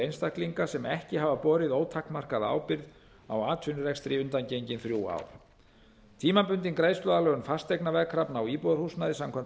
einstaklinga sem ekki hafa borið ótakmarkaða ábyrgð á atvinnurekstri undangengin þrjú ár tímabundin greiðsluaðlögun fasteignaveðkrafna á íbúðarhúsnæði samkvæmt